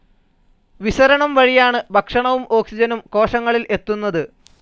വിസരണം വഴിയാണ് ഭക്ഷണവും ഓക്സിജനും കോശങ്ങളിൽ എത്തുന്നത്.